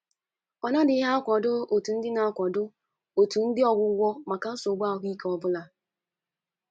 ọ nadịghị akwado otu ụdị akwado otu ụdị ọgwụgwọ maka nsogbu ahụ ike ọ bụla.